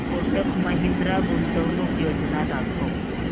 कोटक महिंद्रा गुंतवणूक योजना दाखव